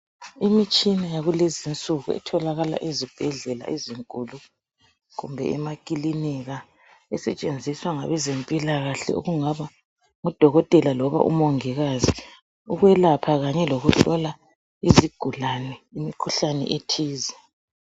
Imitshina yakulezinsuku etholakala ezibhedlela ezinkulu, kumbe emaklinika esetshenziswa ngabezempilakahle okungaba nguDokotela loba u Mongikazi ukwelapha, kanye ukuhlola izigulane imikhuhlane ethize.